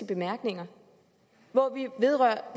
bemærkninger hvori vi berører